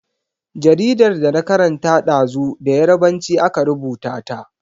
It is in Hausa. Jaridar da na karanta ɗazu da Yarbanci aka rubuta ta.